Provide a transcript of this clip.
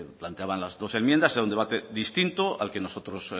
planteaban las dos enmiendas era un debate distinto al que nosotros